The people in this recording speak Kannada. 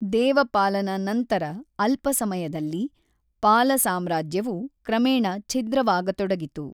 ದೇವಪಾಲನ ನಂತರ ಅಲ್ಪಸಮಯದಲ್ಲಿ, ಪಾಲ ಸಾಮ್ರಾಜ್ಯವು ಕ್ರಮೇಣ ಛಿದ್ರವಾಗತೊಡಗಿತು.